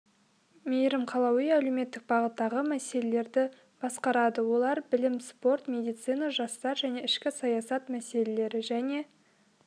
мейірім қалауи әлеуметтік бағыттағы мәселелерді басқарады олар білім спорт медицина жастар және ішкі саясат мәселелері және